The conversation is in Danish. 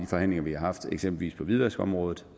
forhandlinger vi har haft eksempelvis på hvidvaskområdet